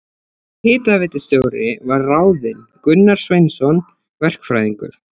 Hitaveitustjóri var ráðinn Gunnar Sverrisson verkfræðingur.